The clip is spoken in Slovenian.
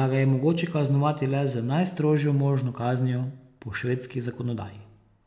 da ga je mogoče kaznovati le z najstrožjo možno kaznijo po švedski zakonodaji.